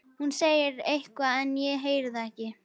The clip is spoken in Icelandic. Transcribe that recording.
Hún segir eitthvað en ég heyri það ekki.